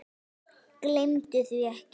Gleymdu því ekki.